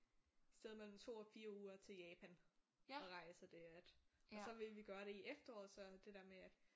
Sted mellem 2 og 4 uger til Japan og rejse og det at og så ville vi gøre det i efteråret så det der med at